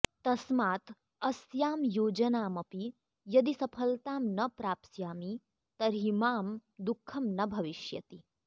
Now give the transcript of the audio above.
तस्मात् अस्यां योजनामपि यदि सफलतां न प्राप्स्यामि तर्हि मां दुःखं न भविष्यति